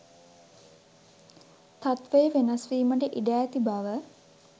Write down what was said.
තත්වය වෙනස් වීමට ඉඩ ඇති බව